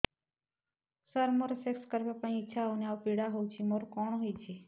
ସାର ମୋର ସେକ୍ସ କରିବା ପାଇଁ ଇଚ୍ଛା ହଉନି ଆଉ ପୀଡା ହଉଚି ମୋର କଣ ହେଇଛି